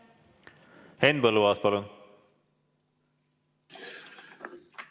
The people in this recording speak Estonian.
Henn Põlluaas, palun!